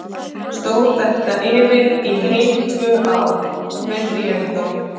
Stóð þetta yfir í heil tvö ár, með hléum þó.